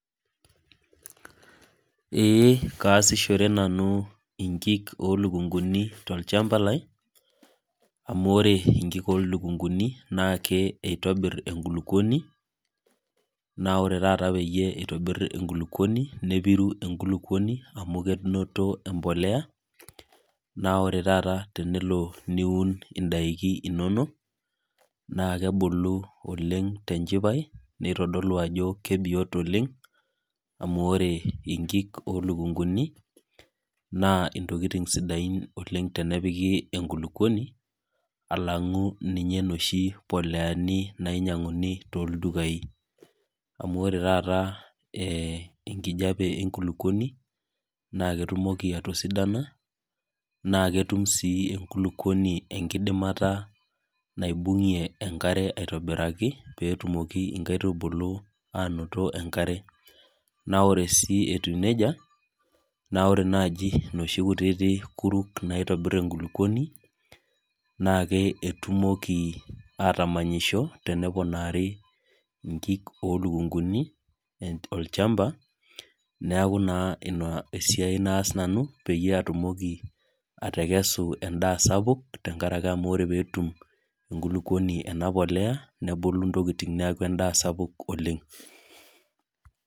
Eeh kaasishore nanu inkik olukunguni tolchamba lai amu ore inkik olukunguni naake eitobirr enkulukuoni, naore taata peyie eitobirr enkulukuoni nepiru enkulukuoni amu kenoto empolea. Naore tata tenelo niun indaiki inono naakebulu oleng' tenchipai neitodolu ajo kebiot oleng' amu ore inkik olukunguni naa intokitin sidain oleng' tenepiki enkulukuoni alang'u ninye noshi poleani nainyang'uni toldukai. Amu ore tata eeh enkijape enkulukuoni naaketumoki atosidana naaketum sii enkulukuoni enkidimata naibung'ie enkare aitobiraki peetumoki inkaitubulu aanoto enkare. Naa ore sii etiu neija naa ore naji noshi kutiti kuruk naitobirr enkulukuoni naake etumoki atamanyisho teneponari inkik olukunguni [ehn] olchamba neaku naa ina esiai naas nanu peyie atumoki atekesu endaa sapuk tengarake amu ore peetum enkulukuoni ena polea nebulu intokitin neaku endaa sapuk oleng'.